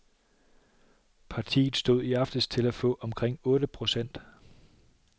Partiet stod i aftes til at få omkring otte procent.